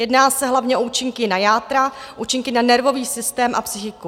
Jedná se hlavně o účinky na játra, účinky na nervový systém a psychiku.